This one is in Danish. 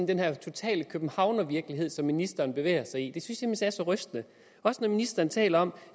den her totale københavnervirkelighed som ministeren bevæger sig i det synes er så rystende også når ministeren taler om